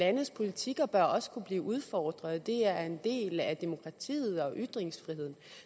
landes politikker bør også kunne blive udfordret det er en del af demokratiet og ytringsfriheden